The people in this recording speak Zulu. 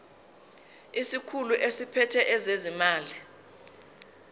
isikhulu esiphethe ezezimali